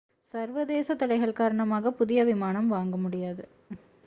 சர்வதேசத் தடைகள் காரணமாக புதிய விமானம் வாங்க முடியாது